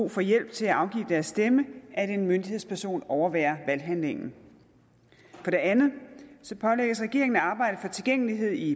for hjælp til at afgive deres stemme at en myndighedsperson overværer valghandlingen for det andet pålægges regeringen at arbejde for tilgængelighed i